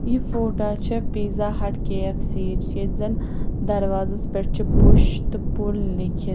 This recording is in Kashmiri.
یہِ فوٹاچھےٚ پیٖزاہٹ کے ایف سی یِچ ییٚتہِ زن دروازس پٮ۪ٹھ چُھ پُش تہٕ پُل لیٚکِھتھ